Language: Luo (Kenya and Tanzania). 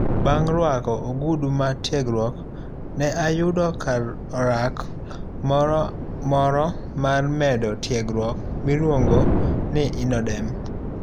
Bang' ruako ogudu mar tiegruok, ne ayudo kar orak moro mar medo tiegruok miluongo ni INNODEM.